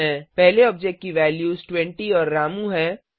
पहले ऑब्जेक्ट की वैल्यूज 20 और रामू हैं